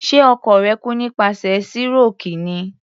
Ṣe ọkọ rẹ̀ kú nípasẹ̀ síròkì ni?